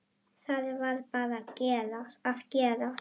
Það varð bara að gerast.